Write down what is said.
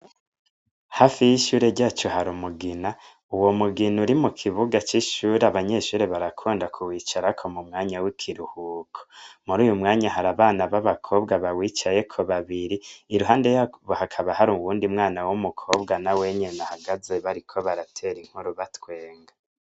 Hafi y'ishure ryacu hari umugina. Uwo mugina uri mu kibuga c'ishure abanyeshure barakunda kuwicarako mu mwanya w'ikiruhuko. Muruwu mwanya hari abana b'abakobwa bawicayeko babiri, iruhande yabo naho hakaba hari uwundi mwana w'umukobwa nawe nyene ahagaze bariko baratera inkuru batwenga.